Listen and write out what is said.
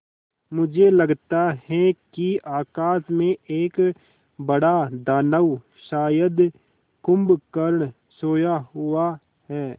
मुझे लगता है कि आकाश में एक बड़ा दानव शायद कुंभकर्ण सोया हुआ है